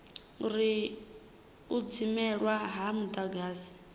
uri u dzimelwa ha mudagasi